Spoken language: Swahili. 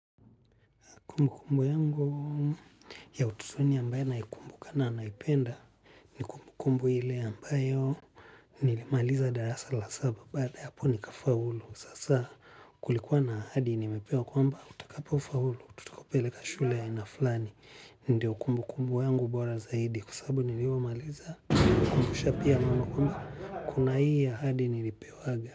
Kumbu kumbu yangu ya utotoni ambayo naikumbuka na naipenda ni kumbukumbu ile ambayo nilimaliza darasa la saba baada ya hapo nikafaulu sasa kulikuwa na ahadi nimepewa kwamba utakapo faulu tutakupeleka shule ya aina fulani ndio kumbu kumbu yangu bora zaidi kwa sababu nilipomaliza kwisha pia kumbu wamba kuna hii ahadi nilipewaga.